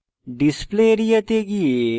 display area তে গিয়ে